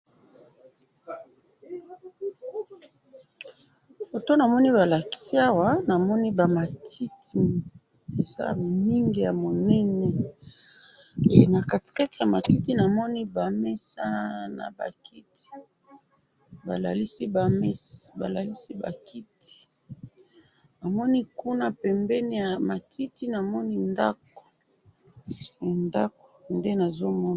Na moni ba matiti na ba nzete na kati, na ngambo kuna na moni ndako.